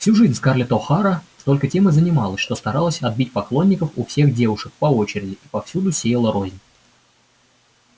всю жизнь скарлетт охара только тем и занималась что старалась отбить поклонников у всех девушек по очереди и повсюду сеяла рознь